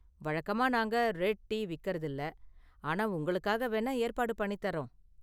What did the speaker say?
வழக்கமா நாங்க red tea விக்கிறதில்ல, ஆனா உங்களுக்காக வேணா ஏற்பாடு பண்ணித்தர்றோம்.